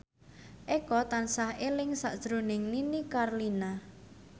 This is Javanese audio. Eko tansah eling sakjroning Nini Carlina